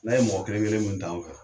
N'a ye mɔgɔ kelen kelen min ta an fɛ.